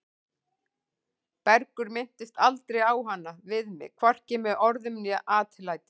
Bergur minntist aldrei á hana við mig, hvorki með orðum né atlæti.